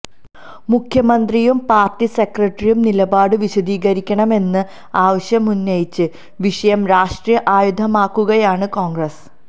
മുഖ്യമന്ത്രിയും പാര്ട്ടി സെക്രട്ടറിയും നിലപാട് വിശദീകരിക്കണമെന്ന ആവശ്യമുന്നയിച്ച് വിഷയം രാഷ്ട്രീയ ആയുധമാക്കുകയാണ് കോണ്ഗ്രസ്